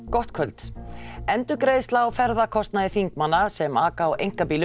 gott kvöld endurgreiðsla á ferðakostnaði þingmanna sem aka á einkabílum